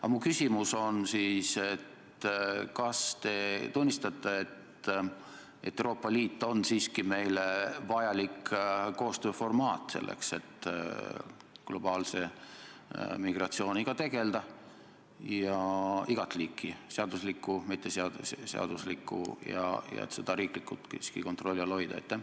Aga mu küsimus on selline: kas te tunnistate, et Euroopa Liit on siiski meile vajalik koostööformaat, selleks et globaalse migratsiooniga tegeleda – igat liiki, nii seadusliku kui mitteseaduslikuga – ja seda riiklikult siiski kontrolli all hoida?